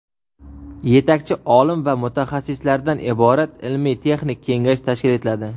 yetakchi olim va mutaxassislardan iborat ilmiy-texnik kengash tashkil etiladi.